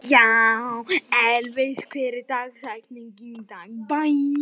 Elvis, hver er dagsetningin í dag?